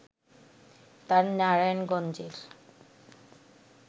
তার নারায়ণগঞ্জের